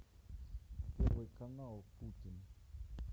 первый канал путин